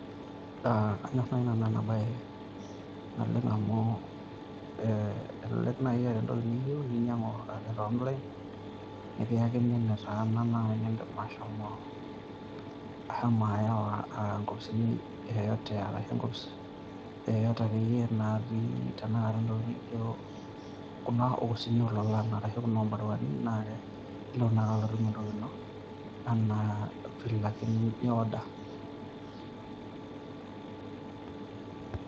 anyor naaji nanu ena bae naleng amu elelek naji eeta entoki niyieu, ninyiang'u ake te online nikiyakini enetaana nidim ashomo, ahomo ayau inkopisini yeyote, arashu enkopis yeyote akeyie natii tenakata nijo kuna opisini oololan, kuna oobaruani naa kelo naake atum entoki ino anaa file ake ni order.